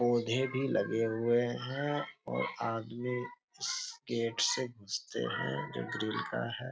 पौधे भी लगे हुए हैं और आदमी गेट से घुसते हैं जो ग्रिल का है ।